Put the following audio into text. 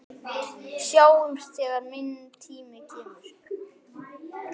Sjáumst þegar minn tími kemur.